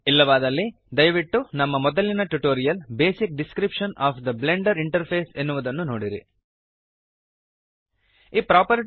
ಇಲ್ಲವಾದಲ್ಲಿ ದಯವಿಟ್ಟು ನಮ್ಮ ಮೊದಲಿನ tutorial basic description of the Blender interface basic description of the Blender interface ಎನ್ನುವುದನ್ನು ನೋಡಿರಿ